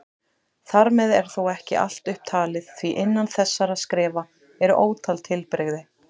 Þar með er þó ekki allt upptalið því innan þessara skrefa eru ótal tilbrigði.